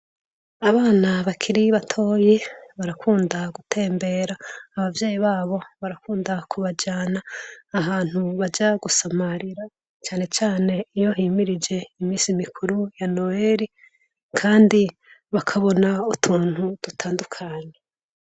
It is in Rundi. Abana bakiri batoyi barakunda gutembera. Abavyeyi babo barakunda kubajana ahantu baja gusamarira cane cane iyo himirije imisi mikuru ya Noweli kandi bakabona utuntu dutandukanye.